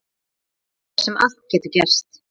Þar sem allt getur gerst.